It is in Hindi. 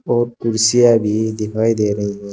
और कुर्सियां भी दिखाई दे रही है।